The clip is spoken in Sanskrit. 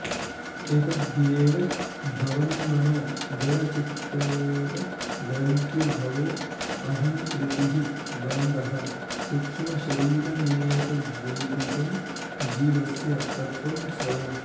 एतद्ध्येव भवेन्मनो जडचितोर्ग्रन्थिर्भवोऽहङ्कृतिः बन्धः सूक्ष्मशरीरमेतदुदितं जीवस्य तत्त्वं स्वयम्